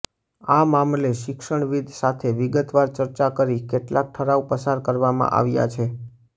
આ મામલે શિક્ષણવિદ્ સાથે વિગતવાર ચર્ચા કરી કેટલાક ઠરાવ પસાર કરવામાં આવ્યા છે